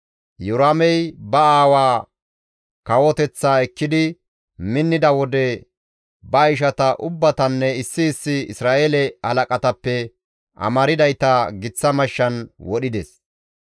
Iyoraamey ba aawaa kawoteththaa ekkidi minnida wode ba ishata ubbatanne issi issi Isra7eele halaqatappe amardayta giththa mashshan wodhides.